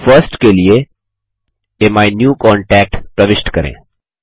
first के लिए अमीन्यूकांटैक्ट प्रविष्ट करें